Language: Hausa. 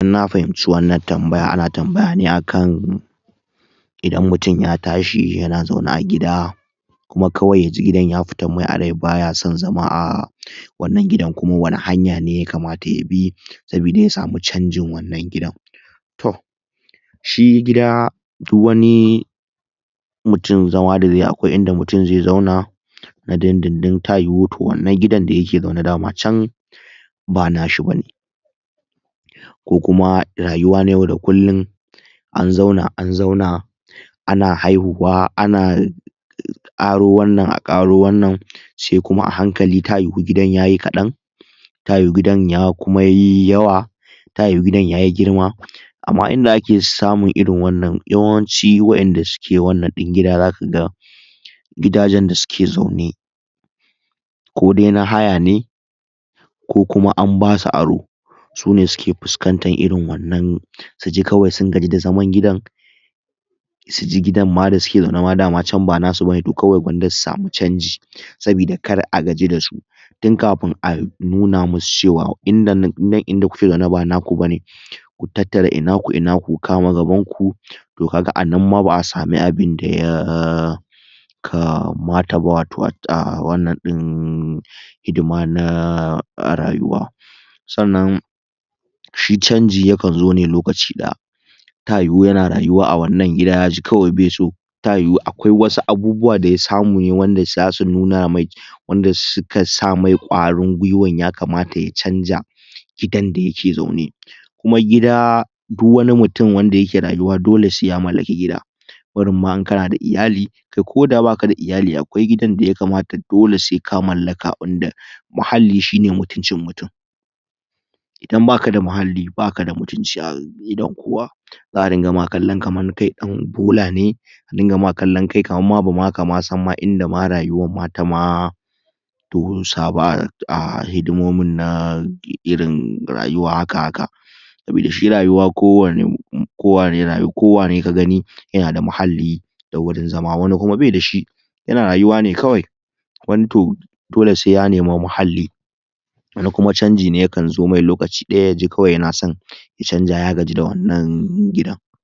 In na fahimci wannan tambaya ana tambaya ne a kan idan mutum ya tashi yana zaune a gida kuma kawai ya ji gidan ya fitan mai a rai ba ya son zama a wannan gidan kuma wani hanya ne ya kamata ya sabida ya samu canjin wannan gidan. To, shi gida duk wani mutum zama da zai yi akwai inda mutum zai zauna na dindindin ta yiwu to wannan gidan da yake zaune dama can ba nashi ba ne, ko kuma rayuwa na yau da kullum an zauna an zauna ana haihuwa ana a ƙaro wannan a ƙaro wannan sai kuma a hankali ta yiwu gidan ya yi kaɗan ta yiwu gidan kuma ya yi yawa ta yiwu gidan ya yi girma. Amma inda ake samun irin wannan yawanci waƴanda suke wannan din gida za ka ga gidajen da suke zaune ko dai na haya ne ko kuma an ba su aro su ne suke fuskantan irin wannan su ji kawai sun gaji da zaman gidan su ji gidan ma da suke zauna ma da ma can ba nasu ba ne, to kawai gwanda su samu canji sabida kar a gaji da su tun kafin a nuna musu cewa inda nan, nan inda kuke zaune ba naku ba ne. Ku tattara i naku i naku ku kama gabanku. To ka ga a nan ma ba a samu abunda ya kamata ba wato a wannan ɗin hidima na rayuwa. Sannan shi canji yakan zo ne lokaci ɗaya ta yiwu yana rayuwa a wannan gida kawai ya ji baiso ta yiwu akwai wasu abubuwa da ya samu ne wanda za su nuna mai, wanda suka sa mai ƙwarin gwiwan ya kamata ya canja gidan da yake zaune. Kuma gida du wani mutum wanda yake rayuwa dole sai ya mallaki gida, barin ma in kana da iyali, kai koda ba ka da iyali akwai gidan da ya kamata dole sai ka mallaka wanda muhalli shi ne mutuncin mutum. Idan ba ka da muhalli ba ka da mutunci a idon kowa za a dinga ma kallon kamar kai dan bola ne a dinga ma kallon kai kamar kai ba ma ka san ma inda ma rayuwar ma ta ma dosa ba a hidimomin na irin rayuwa haka haka sabida shi rayuwa kowane kowane kowane ka gani yana da muhalli da wurin zama wani kuma bai da shi yana rayuwa ne kawai wani to dole sai ya nemi muhalli wani kuma canji ne yakan zo mai lokaci daya ya ji kawai yana son ya canja ya gaji da wannan gidan.